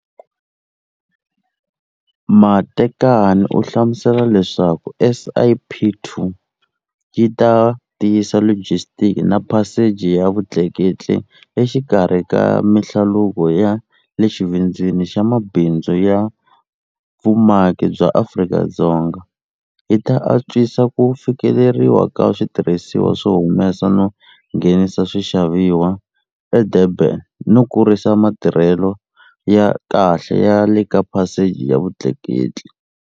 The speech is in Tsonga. Matekane u hlamusela leswaku SIP2 yi ta tiyisa logisitiki na phaseji ya vutleketli exikarhi ka mihlaluko ya le xivindzini xa mabindzu ya vumaki bya Afrika-Dzonga, yi ta atswisa ku fikeleriwa ka switirhisiwa swo humesa no nghenisa swixavisiwa eDurban no kurisa matirhelo ya kahle ya leka phasejini ya vutleketli.